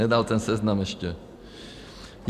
Nedal ten seznam ještě.